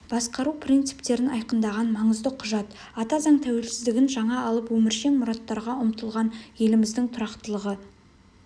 басқару принциптерін айқындаған маңызды құжат ата заң тәуелсіздігін жаңа алып өміршең мұраттарға ұмтылған еліміздің тұрақтылығы